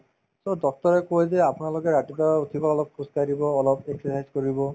so, doctor য়ে কই যে আপোনালোকে ৰাতিপুৱা উঠিব অলপ খোজকাঢ়িব অলপ exercise কৰিব